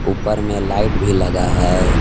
ऊपर में लाइट भी लगा है।